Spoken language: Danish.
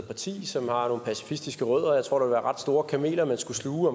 parti som har nogle pacifistiske rødder og jeg tror at ret store kameler man skulle sluge